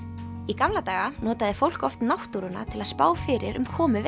í gamla daga notaði fólk oft náttúruna til að spá fyrir um komu